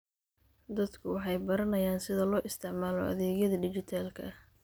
Dadku waxay baranayaan sida loo isticmaalo adeegyada dhijitaalka ah.